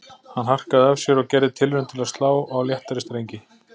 Hann harkaði af sér og gerði tilraun til að slá á léttari strengi